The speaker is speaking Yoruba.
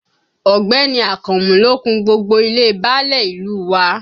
Ọ̀gbẹ́ni Akànmú ló kun gbogbo ilé e báálẹ̀ ìlú u wa